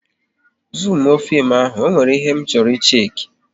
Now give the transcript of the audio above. Zumuo fim ahụ, ọ nwere ihe m chọrọ ịshake